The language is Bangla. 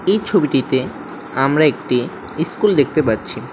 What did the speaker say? এই ছবিটিতে আমরা একটি ইস্কুল দেখতে পাচ্ছি।